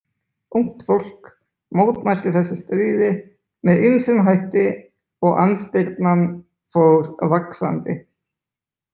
Ungt fólk mótmælti þessu stríði með ýmsum hætti og andspyrnan fór vaxandi.